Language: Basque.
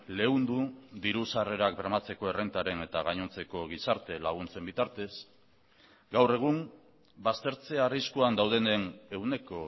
leundu diru sarrerak bermatzeko errentaren eta gainontzeko gizarte laguntzen bitartez gaur egun baztertze arriskuan daudenen ehuneko